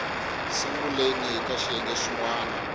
sunguleni ka xiyenge xin wana